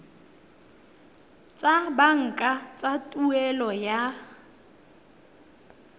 tsa banka tsa tuelo ya